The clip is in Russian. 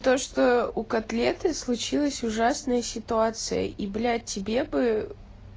то что у котлеты случилась ужасная ситуация и блядь тебе бы